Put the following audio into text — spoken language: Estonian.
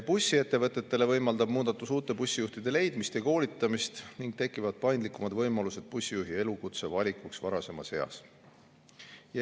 Bussiettevõtetele võimaldab muudatus uute bussijuhtide leidmist ja koolitamist ning tekivad paindlikumad võimalused bussijuhi elukutse valikuks varasemas eas.